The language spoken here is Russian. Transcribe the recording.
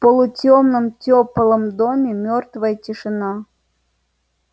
полутёмном тёплом доме мёртвая тишина